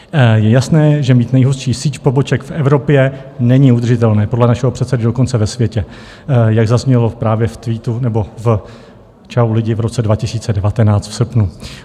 Je jasné, že mít nejhustší síť poboček v Evropě není udržitelné, podle našeho předsedy dokonce ve světě, jak zaznělo právě v tweetu nebo v Čau lidi v roce 2019 v srpnu.